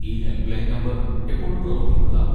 ഈ helpline number എപ്പോഴും പ്രവർത്തിക്കുന്നതാണോ?